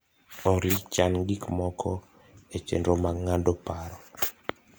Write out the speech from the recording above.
Olly chan gik moko e chenro mag ng'ado paro